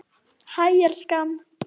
Hæ, elskan.